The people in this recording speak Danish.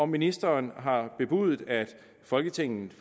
ministeren har bebudet at folketingets